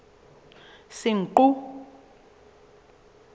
senqu